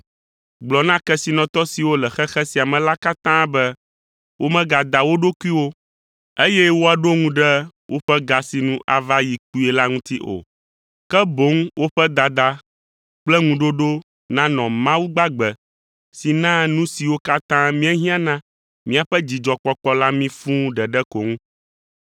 Gblɔ na kesinɔtɔ siwo le xexe sia me la katã be womegada wo ɖokuiwo, eye woaɖo ŋu ɖe woƒe ga si nu ava yi kpuie la ŋuti o; ke boŋ woƒe dada kple ŋuɖoɖo nanɔ Mawu gbagbe si naa nu siwo katã míehiã na míaƒe dzidzɔkpɔkpɔ la mí fũu ɖeɖe ko ŋu.